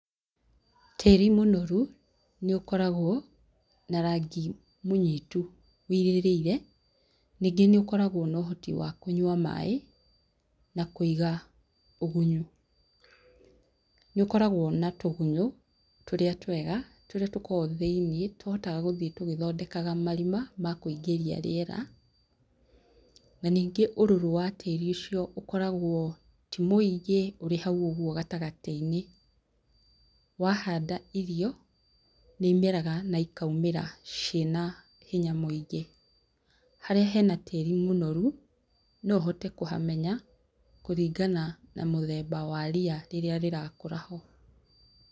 Tĩĩri mũnoru nĩ ũkoragwo na rangi mũnyitu, wĩirĩrĩire. Ningĩ nĩ ũkoragwo na ũhoti wa kũnyua maaĩ, na kũiga ũgunyu. Nĩ ũkoragwo na tũgunyũ, tũrĩa twega, tũrĩa tukoragwo thĩiniĩ, tũhotaga gũthiĩ tũgĩthondekaga marima ma kũingĩria rĩera, na ningĩ ũrũrũ wa tĩĩri ũcio ũkoragwo ti muingĩ ũrĩ hau gatagatĩ-inĩ. Wa handa irio, nĩ imeraga na ikaumĩra ciĩna hinya mũingĩ. Harĩa hena tĩĩri mũnoru, no ũhote kũhamenya, kũringana na mũthemba wa ria rĩrĩa rĩrakũra ho.